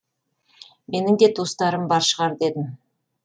менің де туыстарым бар шығар дедім